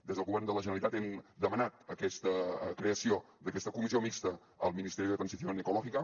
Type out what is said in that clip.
des del govern de la generalitat hem demanat aquesta creació d’aquesta comissió mixta al ministerio de transición ecológica